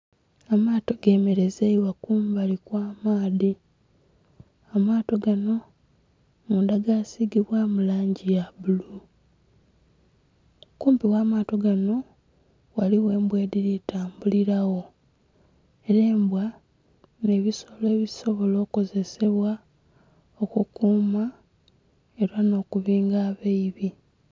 Amaato gemerezeibwa kumbali kwa maadhi, amaato ganho mundha gasigibwamu langi ya bbulu, kumpi gha maato ganho ghaligho embwa edhili tambulila gho, era embwa nhe ebisolo ebisobola okozessbwa okukuma era nho kubinga abeibi.